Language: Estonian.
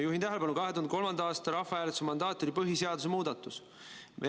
Juhin tähelepanu, et 2003. aasta rahvahääletuse mandaat oli põhiseaduse muudatuse kohta.